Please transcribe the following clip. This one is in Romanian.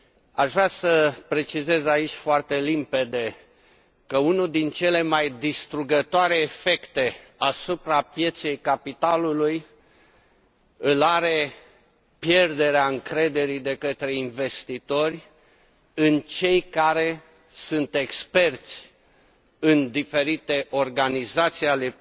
Aș vrea să precizez aici foarte limpede că unul dintre cele mai distrugătoare efecte asupra pieței capitalului îl are pierderea încrederii de către investitori în cei care sunt experți în diferite organizații ale